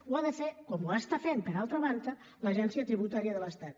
ho ha de fer com ho està fent per altra banda l’agència tributària de l’estat